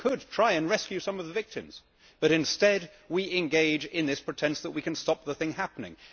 We could try to rescue some of the victims but, instead, we engage in this pretence that we can stop the thing happening.